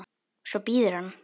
Svo bíður hann.